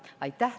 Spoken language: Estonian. Aitäh!